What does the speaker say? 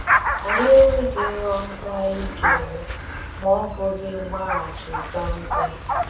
Ànyí enweghị ihe ọzọ ànyí ga-eme ma ọ́ bụghị ịgbàghachi Zàmbíà.